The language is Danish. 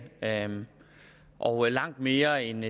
og langt mere end